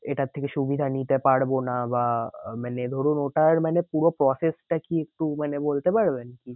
এটার থেকে সুবিধা নিতে পারবো না? বা আহ মানে ধরুন ওটার মানে পুরো process টা কি একটু মানে বলতে পারবেন?